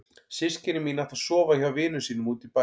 Systkini mín ætla að sofa hjá vinum sínum úti í bæ.